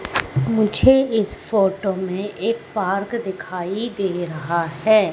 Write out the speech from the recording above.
मुझे इस फोटो में एक पार्क दिखाई दे रहा है।